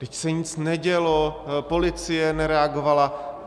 Vždyť se nic nedělo, policie nereagovala.